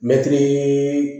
Mɛtiri